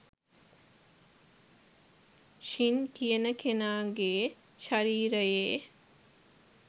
ශින් කියන කෙනාගේ ශරීරයේ